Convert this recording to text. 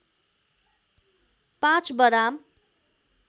५ बराम